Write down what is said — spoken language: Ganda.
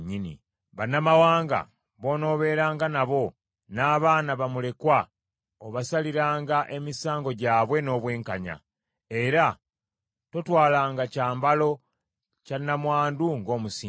Bannamawanga b’onoobeeranga nabo, n’abaana bamulekwa, obasaliranga emisango gyabwe n’obwenkanya, era totwalanga kyambalo kya nnamwandu ng’omusingo.